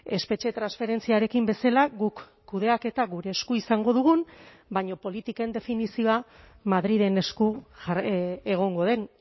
espetxe transferentziarekin bezala guk kudeaketa gure esku izango dugun baina politiken definizioa madrilen esku egongo den